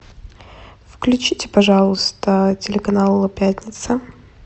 включите пожалуйста телеканал пятница